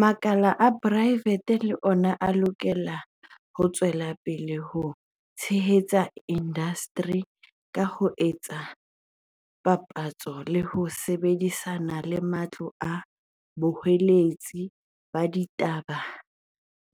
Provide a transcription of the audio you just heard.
Makala a poraefete le ona a lokela ho tswela pele ho tshehetsa indasteri ka ho etsa dipapatso le ho sebedi sana le matlo a boqolotsi ba ditaba